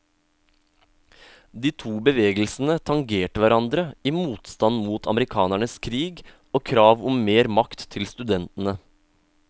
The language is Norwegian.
De to bevegelsene tangerte hverandre i motstand mot amerikanernes krig og krav om mer makt til studentene.